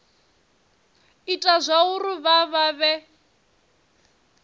ita zwauri vha vha vhe